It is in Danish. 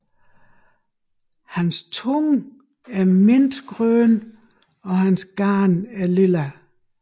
Hans tunge er mintgrøn og hans gane er lilla